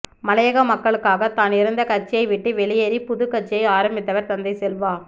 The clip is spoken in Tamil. மலையக மக்களுக்காகத் தான் இருந்த கட்சியை விட்டு வெளியேறிப் புதுக் கட்சியை ஆரம்பித்தவர் தந்தை செல்வா